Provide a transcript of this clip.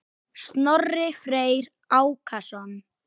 Snorri Freyr Ákason.